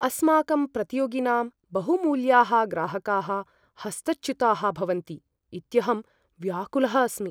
अस्माकं प्रतियोगिनां बहुमूल्याः ग्राहकाः हस्तच्युताः भवन्ति इत्यहं व्याकुलः अस्मि।